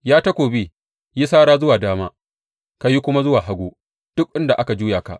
Ya takobi, yi sara zuwa dama ka yi kuma zuwa hagu, duk inda aka juya ka.